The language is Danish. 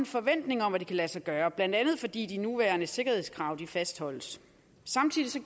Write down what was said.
forventning om at det kan lade sig gøre blandt andet fordi de nuværende sikkerhedskrav fastholdes samtidig